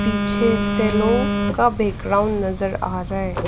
पीछे सेलो का बैकग्राउंड नजर आ रहा है।